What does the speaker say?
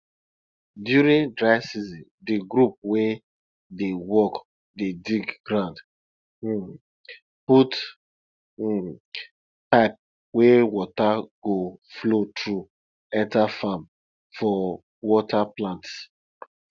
during dry season di group wey dey work dey dig ground um put um pipe wey water go flow through enter farm for water plants